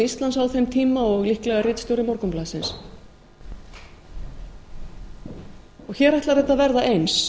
íslands á þeim tíma og líklega ritstjóri morgunblaðsins hér ætlar þetta að verða eins